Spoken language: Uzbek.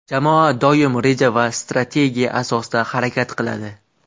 Jamoa doim reja va strategiya asosida harakat qiladi.